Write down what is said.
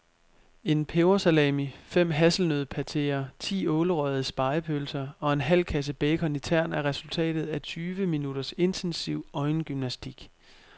En pebersalami, fem hasselnøddepateer, ti ålerøgede spegepølser og en halv kasse bacon i tern er resultatet af tyve minutters intensiv øjengymnastik.